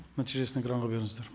нәтижесін экранға беріңіздер